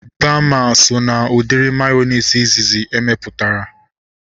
Baama so na udiri mayonezi izizi emeputara